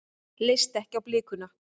Leist ekki á blikuna.